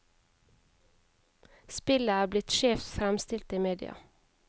Spillet er blitt skjevt fremstilt i media.